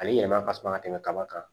A bɛ yɛlɛma ka suma ka tɛmɛ kaba kan